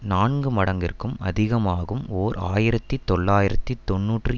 நான்கு மடங்கிற்கும் அதிகமாகும்ஓர் ஆயிரத்தி தொள்ளாயிரத்தி தொன்னூற்றி